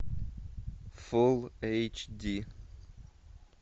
фул эйч ди